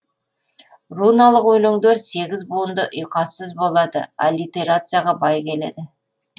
руналық өлеңдер сегіз буынды ұйқассыз болады аллитерацияға бай келеді